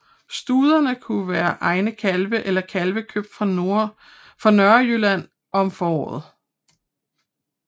Studene kunne være egne kalve eller kalve købt fra Nørrejylland om foråret